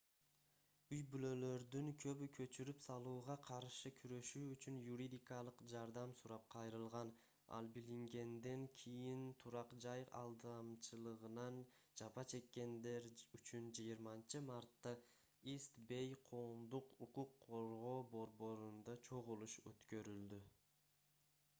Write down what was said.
үй-бүлөлөрдүн көбү көчүрүп салууга каршы күрөшүү үчүн юридикалык жардам сурап кайрылган ал билингенден кийин турак-жай алдамчылыгынан жапа чеккендер үчүн 20-мартта ист бэй коомдук укук коргоо борборунда чогулуш өткөрүлдү